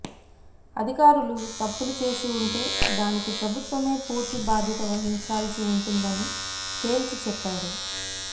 అధికారులు తప్పులు చేసి ఉంటే దానికి ప్రభుత్వమే పూర్తి బాధ్యత వహించాల్సి వుంటుందని తేల్చిచెప్పారు